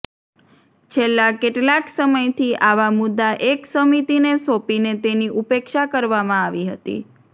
છેલ્લા કેટલાક સમયથી આવા મુદ્દા એક સમિતિને સોંપીને તેની ઉપેક્ષા કરવામાં આવતી હતી